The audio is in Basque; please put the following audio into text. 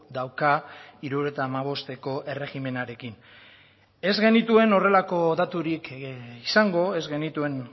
dauka hirurogeita hamabosteko erregimenarekin ez genituen horrelako daturik izango ez genituen